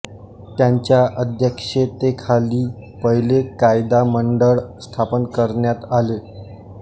त्यांच्या अध्यक्षतेखाली पहिले कायदा मंडळ स्थापन करण्यात आले